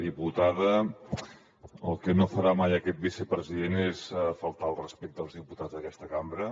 diputada el que no farà mai aquest vicepresident és faltar al respecte als diputats d’aquesta cambra